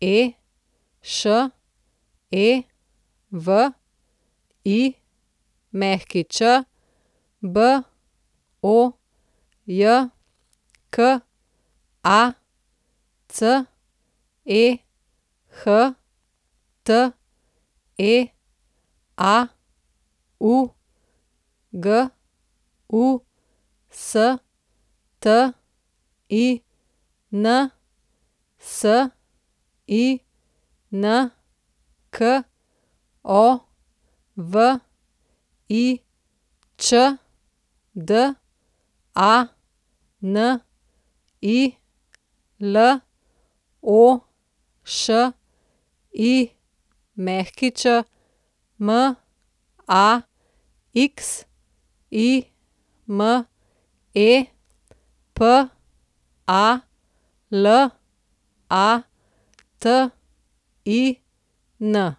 Malešević, Bojka Cehte, Augustin Sinkovič, Dani Lošić, Maxime Palatin.